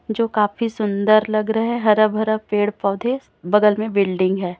जो काफी सुंदर लग रहा है हरा भरा पेड़ पौधे बगल में बिल्डिंग है।